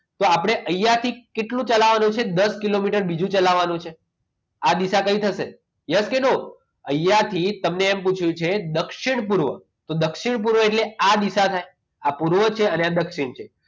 તો આપણે અહીંયા થી કેટલું ચલાવવાનું છે દસ કિલોમીટર બીજું ચલાવવાનું છે આ દિશા કઈ થશે? yes કે no અહીંયા થી તમને એમ પૂછ્યું કે દક્ષિણ પૂર્વ આ તો દક્ષિણ પૂર્વ એટલે આ દિશા થાય આ પૂર્વ છે એના દક્ષિણ છે